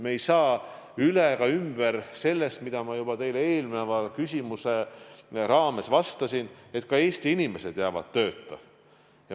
Me ei saa üle ega ümber sellest, mida ma juba teile eelmise küsimuse raames vastasin, et ka Eesti inimesed jäävad tööta.